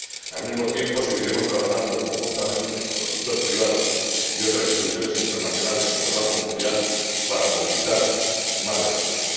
Al mismo tiempo seguiremos trabajando conjuntamente con el sector privado y otras instituciones internacionales, como el Banco Mundial, para movilizar más recursos.